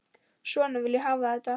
Svona vil ég hafa þetta.